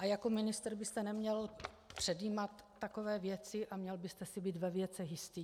A jako ministr byste neměl předjímat takové věci a měl byste si být ve věcech jistý.